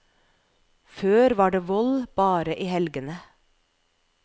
Før var det vold bare i helgene.